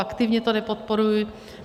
Aktivně to nepodporuji.